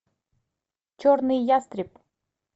черный ястреб